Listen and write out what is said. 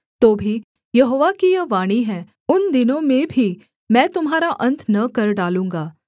तो भी यहोवा की यह वाणी है उन दिनों में भी मैं तुम्हारा अन्त न कर डालूँगा